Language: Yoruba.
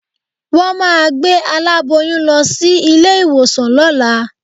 Wọ́n máa gbé aláboyún lọ sí ilé-ìwòsàn lọ́la